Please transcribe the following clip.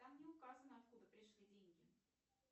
там не указано откуда пришли деньги